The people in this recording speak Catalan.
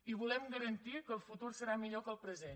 i volem garantir que el futur serà millor que el present